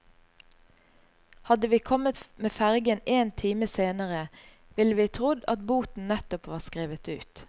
Hadde vi kommet med fergen én time senere, ville vi trodd at boten nettopp var skrevet ut.